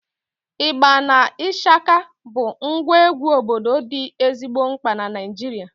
Ịgba na ịshaka bụ ngwa egwu obodo dị ezigbo mkpa na Naịjirịa